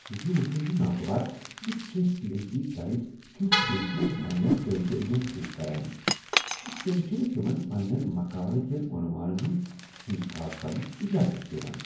یہ وٕچھن چھ ناگوار ز کینٛہہ پی ایچ ڈی گایڈ کیُتھ رٔویہ چھ پنٛنیٚن طٲلب علمن سۭتۍ کران تہٕ تم چھنہٕ تمن پنٛنین مقالہ کین عنوانن ہنٛد انتخاب کرنک اجازت دوان۔